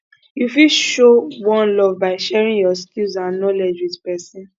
you fit show one love by sharing your skills and knowledge with pesin